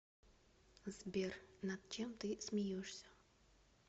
сбер над чем ты смеешься